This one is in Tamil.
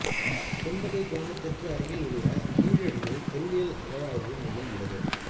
கொந்தகை கிராமத்திற்கு அருகில் உள்ள கீழடியில் தொல்லியல் அகழ்வாய்வு மையம் உள்ளது